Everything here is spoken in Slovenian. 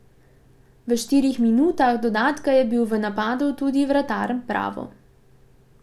V štirih minutah dodatka je bil v napadu tudi vratar Bravo.